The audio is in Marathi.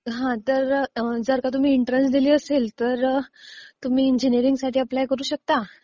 हा तर जर का तुम्ही एन्ट्रन्स दिलेली असेल तर तुम्ही इंजिनियरिंगसाठी एप्लाय करू शकता.